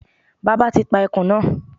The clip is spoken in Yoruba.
Bàbá ti pa ẹkùn náà